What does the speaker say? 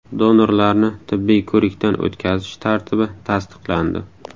Donorlarni tibbiy ko‘rikdan o‘tkazish tartibi tasdiqlandi.